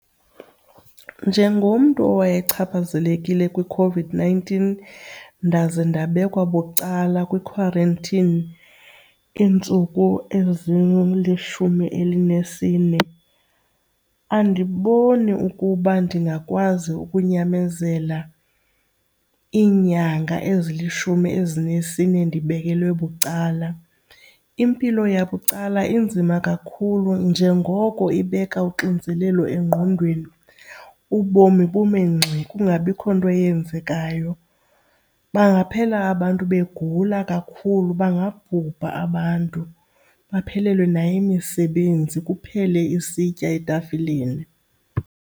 Njengomntu owayechaphazelekile kwiCOVID-nineteen ndaze ndabekwa bucala kwi-quarantine iintsuku ezilishumi elinesine, andiboni ukuba ndingakwazi ukunyamezela iinyanga ezilishumi elinesine ndibekelwe bucala. Impilo yabucala inzima kakhulu njengoko ibeka uxinzelelo engqondweni, ubomi bume ngxi kungabikho nto eyenzekayo. Bangaphela abantu begula kakhulu, bangabhubha abantu baphelelwe nayimisebenzi kuphele isitya etafileni.